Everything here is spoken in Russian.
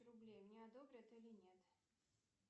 рублей мне одобрят или нет